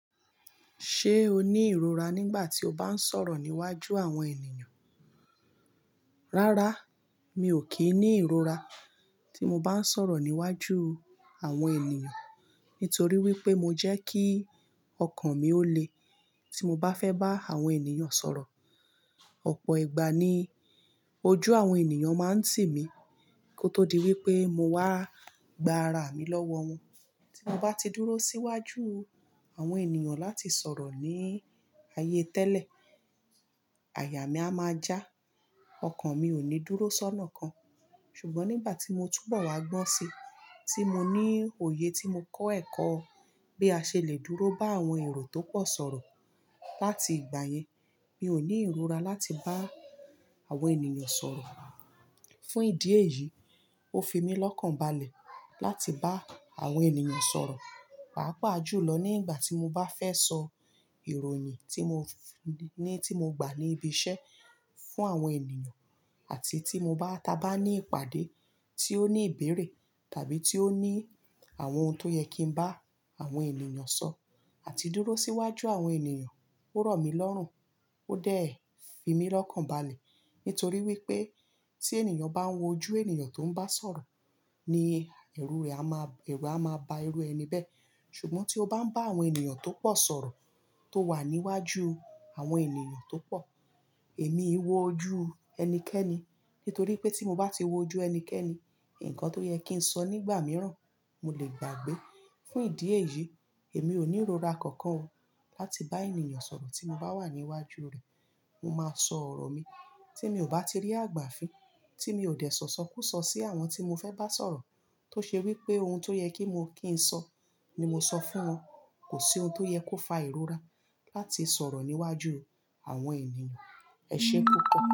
Ṣé o ní ìrora nígbà tí o bá ń sọ̀rọ̀ níwájú àwọn ènìyàn? Rárá, mi ò kí ń ní ìrora tí mo bá ń sọ̀rọ̀ níwájú àwọn ènìyàn. Nítorí wípé mo jẹ́ kí ọkàn mi ó le tí mo bá fẹ́ bá àwọn ènìyàn sọ̀rọ̀. Ọ̀pọ̀ ìgbà ni ojú àwọn ènìyàn máa ń tì mí kó tó di wípé mo wá gbá ara mi lọ́wọ́ wọn. Tí mo bá ti dúró síwájú àwọn ènìyàn láti sọ̀rọ̀ ní ayé tẹ́lẹ̀, àyà mi a máa já, ọkàn mi ò ní dúró sọ́nà kan. Ṣùgbọ́n nígbà tí mo túbọ̀ wá gbọ́n sí, tí mo ní òye tí mo kọ́ ẹ̀kọ́ bí a ṣe lè dúró bá àwọn èrò tó pọ̀ sọ̀rọ̀. Láti ìgbà yẹn, mi ò ní ìrora láti bá àwọn ènìyàn sọ̀rọ̀. Fún ìdí èyí, ó fi mí lọ́kànbalẹ̀ láti bá àwọn ènìyàn sọ̀rọ̀. Pàápò àjùlọ nígbà tí mo bá fẹ́ sọ ìròyìn tí mo ní, tí mo gbà níbi iṣẹ́ fún àwọn ènìyàn àti tí mo bá ta bá ní ìpàdé tí ó ní ìbẹ̀rẹ̀ tàbí tí ó ní àwọn oun tó yẹ kí n bá àwọn ènìyàn sọ àti dúró síwájú àwọn ènìyàn. Ó rọ̀ mí lọ́rùn, ó dẹ̀ fi mí lọ́kànbalẹ̀. Nítorí wípé tí ènìyàn bá ń wojú ènìyàn tó ń bá sọ̀rọ̀ ní ẹrù rẹ̀, a máa, ẹrù a máa ba ẹrú ẹni bẹ́ẹ̀. Ṣùgbọ́n tí o bá ń bá àwọn ènìyàn tó pọ̀ sọ̀rọ̀ tó wà níwájú àwọn ènìyàn tó pọ̀, èmi ń wojú ẹnikẹ́ni. Nítorí pé tí mo bá ti wojú ẹnikẹ́ni, nǹkan tó yẹ kí n sọ nígbà mìíràn, mo lè gbàgbé. Fún ìdí èyí, èmi ò ní ìrora kankan o láti bá ènìyàn sọ̀rọ̀. Tí mo bá wà níwájú rẹ̀, mo máa sọ ọ̀rọ̀ mi. Tí mi ò bá ti rí àgbà fí tí mi ò dẹ̀ sọ̀sọkúsọ sí àwọn tí mo fẹ́ bá sọ̀rọ̀. Tó ṣe wípé oun tó yẹ kí mo kí ń sọ ni mo sọ fún wọn. Kò sí ohun tó yẹ kó fa ìrora láti sọ̀rọ̀ níwájú àwọn ènìyàn. Ẹ ṣé púpọ̀.